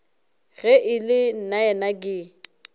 ge e le nnaena ke